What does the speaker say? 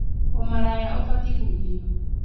Ũmalaya ũbatiĩ kũgirio